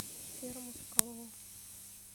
серому соколову